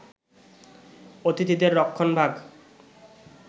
অতিথিদের রক্ষণভাগ